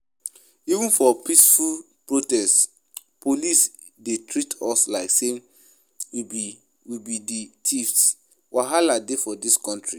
Even for peaceful protest police dey treat us like say we be we be the thieves, wahala dey for dis country